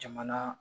Jamana